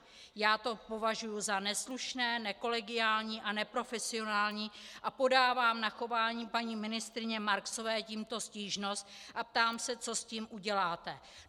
Já to považuji za neslušné, nekolegiální a neprofesionální a podávám na chování paní ministryně Marksové tímto stížnost a ptám se, co s tím uděláte.